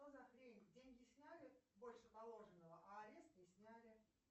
что за хрень деньги сняли больше положенного а арест не сняли